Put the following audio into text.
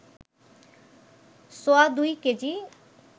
সোয়াদুই KG